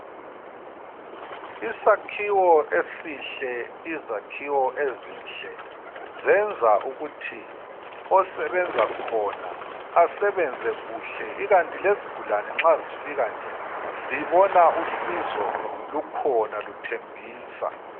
Isakhiwo esihle, izakhiwo ezinhle zenza ukuthi osebenza khona asebenze kuhle ikanti lezigulane nxa zifika nje, zibona usizo lukhona luthembisa.